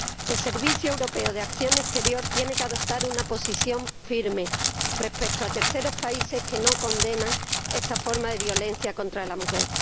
El Servicio Europeo de Acción Exterior tiene que adoptar una posición firme respecto a terceros países que no condenan esta forma de violencia contra la mujer.